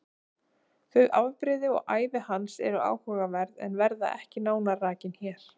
Þau afbrigði og ævi hans eru áhugaverð en verða ekki nánar rakin hér.